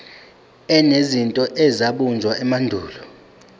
enezinto ezabunjwa emandulo